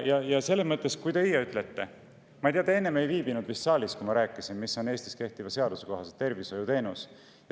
Ma ei tea, te vist ei viibinud saalis, kui ma rääkisin, mis on Eestis kehtiva seaduse kohaselt tervishoiuteenus.